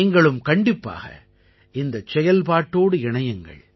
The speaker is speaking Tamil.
நீங்களும் கண்டிப்பாக இந்தச் செயல்பாட்டோடு இணையுங்கள்